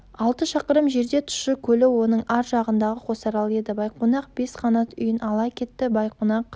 алты шақырым жерде тұщы көлі оның аржағындағы қосарал еді байқонақ бес қанат үйін ала кетті байқонақ